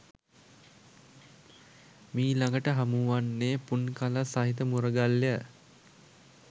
මීළඟට හමුවන්නේ පුන්කලස් සහිත මුරගල්ය.